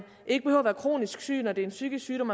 ikke behøver at være kronisk syg når det er en psykisk sygdom